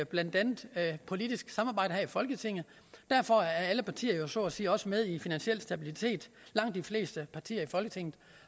blandt andet politisk samarbejde her i folketinget derfor er alle partier så at sige også med i finansiel stabilitet langt de fleste partier i folketinget